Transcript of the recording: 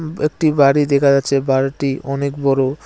উম একটি বাড়ি দেখা যাচ্ছে বাড়িটি অনেক বড়ো।